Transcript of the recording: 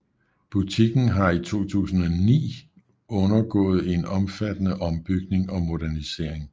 Butikken har i 2009 undergået en omfattende ombygning og modernisering